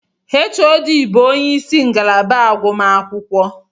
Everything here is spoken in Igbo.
HOD bu onyeisi ngalaba akwụkwọ